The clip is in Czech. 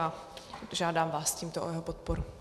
A žádám vás tímto o jeho podporu.